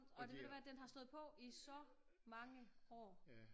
Og ved du hvad den har stået på i så mange år